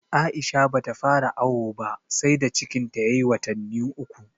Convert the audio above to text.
Aisha ba ta fara awo ba sai da cikin ta ya yi watannu uku